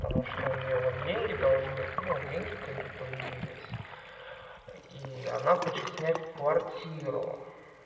потому что у неё вот деньги должны ну деньги когда появились и она хочет снять квартиру